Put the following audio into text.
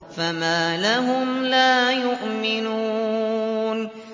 فَمَا لَهُمْ لَا يُؤْمِنُونَ